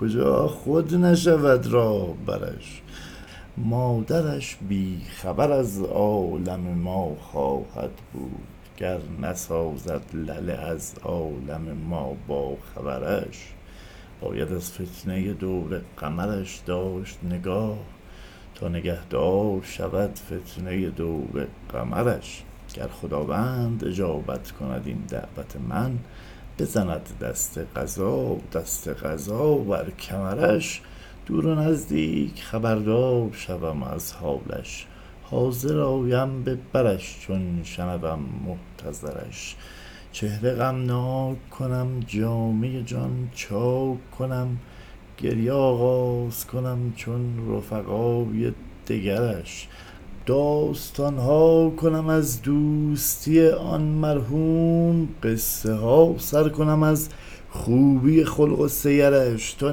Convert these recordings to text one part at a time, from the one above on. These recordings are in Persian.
کجا خود نشود راهبرش مادرش بی خبر از عالم ما خواهد بود گر نسازد لله از عالم ما باخبرش باید از فتنۀ دور قمرش داشت نگاه تا نگهدار شود فتنۀ دور قمرش گر خداوند اجابت کند این دعوت من بزند دست قضا دست قضا بر کمرش دور و نزدیک خبردار شوم از حالش حاضر آیم به برش چون شنوم محتضرش چهره غمناک کنم جامه جان چاک کنم گریه آغاز کنم چون رفقای دگرش داستان ها کنم از دوستی آن مرحوم قصه ها سر کنم از خوبی خلق و سیرش تا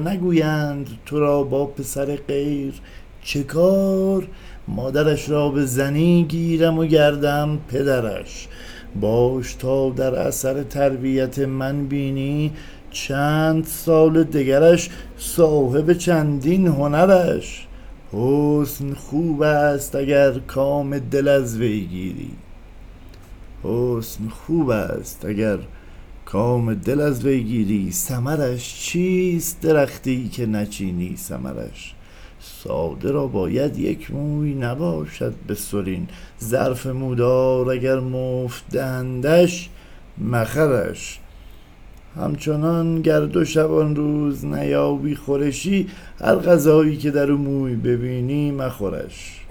نگویند تو را با پسر غیر چه کار مادرش را به زنی گیرم و گردم پدرش باش تا در اثر تربیت من بینی چند سال دگرش صاحب چندین هنرش حسن خوبست اگر کام دل از وی گیری ثمرش چیست درختی که نچینی ثمرش ساده را باید یک موی نباشد به سرین ظرف مودار اگر مفت دهندش مخرش همچنان گر دو شبانروز نیابی خورشی هر غذایی که در او موی ببینی مخورش